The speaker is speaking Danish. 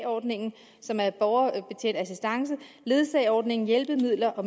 ordningen som er borgerbetjent assistance ledsageordningen hjælpemidler og